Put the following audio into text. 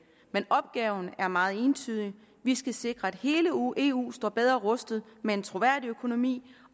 men opgaven er meget entydig vi skal sikre at hele eu eu står bedre rustet med en troværdig økonomi